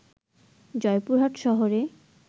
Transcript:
জয়পুরহাট শহরে